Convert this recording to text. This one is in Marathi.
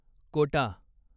कोटा